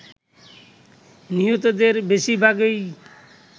নিহতদের বেশিরভাগই